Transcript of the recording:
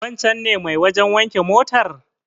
Wancen ne mai wajen wanke motar?